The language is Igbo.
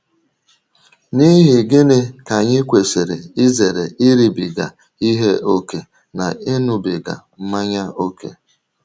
N’ihi gịnị ka anyị ji kwesị izere iribiga ihe ókè na ịṅụbiga mmanya ókè?